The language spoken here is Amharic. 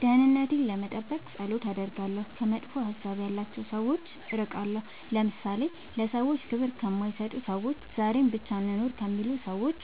ደህንነቴን ለመጠበቅ ፀሎት አደርጋለሁ ከመጥፎ ሀሳብ ያላቸው ሰዎች እርቃለሁ ለምሳሌ ለሰዎች ክብር ከማይሰጡ ሰዎች ዛሬን ብቻ እንኑር ከሚሉ ሰዎች